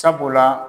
Sabula